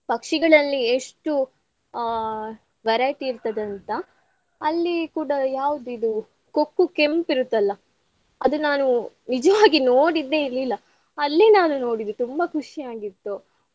ಪಕ್ಷಿಗಳಲ್ಲಿ ಎಷ್ಟು ಆ variety ಇರ್ತದಂತ. ಅಲ್ಲಿ ಕೂಡಾ ಯಾವ್ದು ಇದು ಕೊಕ್ಕು ಕೆಂಪ್ ಇರುತ್ತಲ್ಲಾ ಅದು ನಾನು ನಿಜವಾಗಿ ನೋಡಿದ್ದೆ ಇರ್ಲಿಲ್ಲಾ ಅಲ್ಲೆ ನಾನು ನೋಡಿದ್ದು ತುಂಬಾ ಖುಷಿಯಾಗಿತ್ತು.